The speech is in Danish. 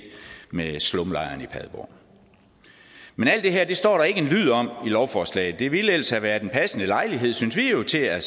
med slumlejren i padborg men alt det her står der ikke en lyd om i lovforslaget det ville ellers have været en passende lejlighed synes vi jo til at